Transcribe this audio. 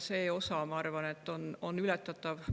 See osa, ma arvan, on ületatav.